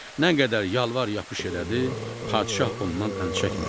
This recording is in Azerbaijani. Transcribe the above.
Nə qədər yalvar-yapış elədi, padşah ondan əl çəkmədi.